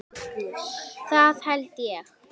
Það held ég